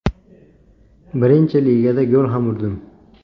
Birinchi ligada gol ham urdim.